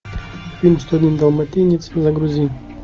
фильм сто один далматинец загрузи